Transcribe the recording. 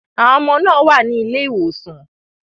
Àwọn ọmọ náà wà ní ilé ìwòsàn.